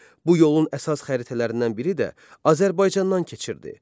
Bu yolun əsas xəritələrindən biri də Azərbaycandan keçirdi.